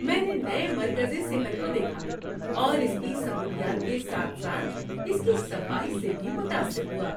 ‏میں نے نئے مرکزِ صحت کو دیکھا اور اس کی سہولیات کے ساتھ ساتھ اس کی صفائی سے بھی متاثر ہوا‏۔